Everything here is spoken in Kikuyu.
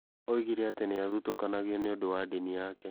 Oigire atĩ nĩ aathutũkanago nĩ ũndũ wa ndini yake.